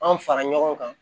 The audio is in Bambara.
An fara ɲɔgɔn kan